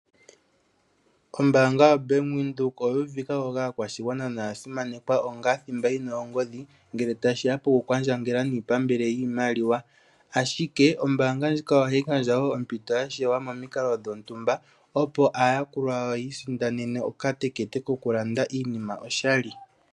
Ombaanga yoBank Windhoek oya uvikiwa ko kaakwashigwana noya simanekwa onga thimba yi na ongoodhi ngele tashi ya pokukwandjangela niipambele yiimaliwa, ashike ombaanga ndjika ohayi gandja wo ompito ya shewa momikalo dhontumba, opo aayakulwa yawo yi isindanene okatekete kokulanda iinima oshali.